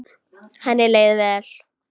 Henni leið vel.